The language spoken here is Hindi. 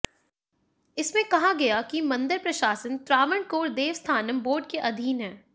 इसमें कहा गया कि मंदिर प्रशासन त्रावणकोर देवस्थानम बोर्ड के अधीन है